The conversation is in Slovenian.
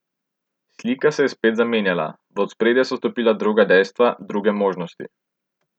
Slika se je spet zamenjala, v ospredje so stopila druga dejstva, druge možnosti.